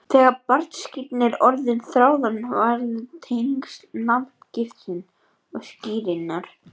Þegar barnaskírn er orðin ráðandi verða tengsl nafngiftar og skírnar